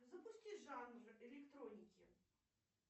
запусти жанр электроники